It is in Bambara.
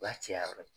O b'a caya yɔrɔ ye